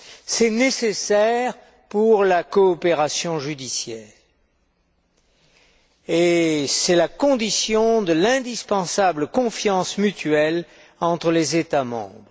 C'est nécessaire pour la coopération judiciaire et c'est la condition de l'indispensable confiance mutuelle entre les États membres.